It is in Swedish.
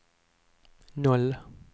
noll